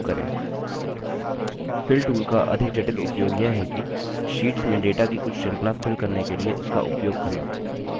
fill tool का अधिक जटिल उपयोग यह है कि शीट्स में data की कुछ श्रृंखला fill करने के लिए इसका उपयोग करना